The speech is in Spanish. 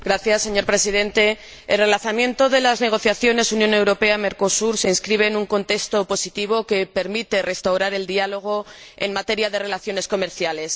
Señor Presidente, el relanzamiento de las negociaciones Unión Europea Mercosur se inscribe en un contexto positivo que permite restaurar el diálogo en materia de relaciones comerciales.